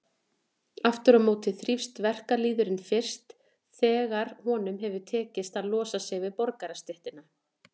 Aftur á móti þrífst verkalýðurinn fyrst þegar honum hefur tekist að losa sig við borgarastéttina.